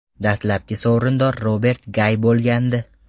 Dastlabki sovrindor Robert Gay bo‘lgandi.